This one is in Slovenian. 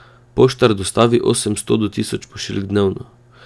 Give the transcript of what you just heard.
Poštar dostavi osemsto do tisoč pošiljk dnevno.